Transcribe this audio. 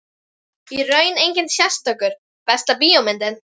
Í raun enginn sérstakur Besta bíómyndin?